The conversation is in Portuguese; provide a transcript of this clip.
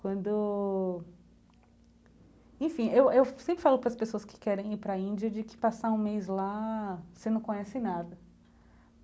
Quando... Enfim, eu eu sempre falo para as pessoas que querem ir para a Índia de que passar um mês lá, você não conhece nada.